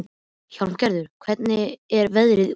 Hjálmgerður, hvernig er veðrið úti?